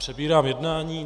Přebírám jednání.